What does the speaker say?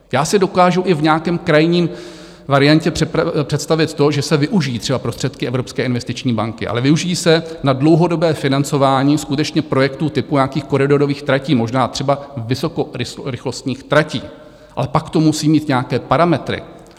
Já si dokážu i v nějaké krajní variantě představit to, že se využijí třeba prostředky Evropské investiční banky, ale využijí se na dlouhodobé financování skutečně projektů typu nějakých koridorových tratí, možná třeba vysokorychlostních tratí, ale pak to musí mít nějaké parametry.